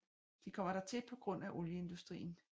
De kommer dertil på grund af olieindustrien